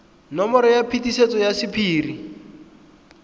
nomoro ya phetiso ya sephiri